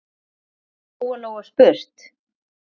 hafði Lóa-Lóa spurt.